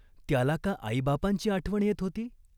त्याला का आईबापांची आठवण येत होती ?